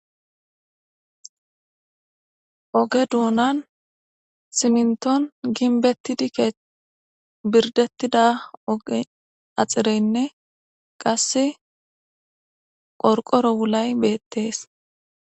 Oge duunan simnton ginbetti dike birdettida oge axireynne qasse qorqoro wulay beettees